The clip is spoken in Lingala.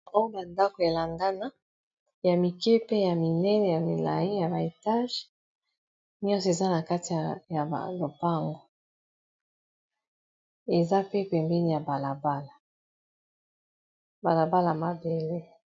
Oyo ba ndako elandana ya mike pe ya minene ya milai ya ba etage nyonso eza na kati ya ba lopango eza pe pembeni ya balabala bala bala ya mabele.